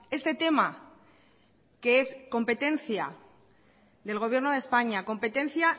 este tema que es competencia del gobierno de españa competencia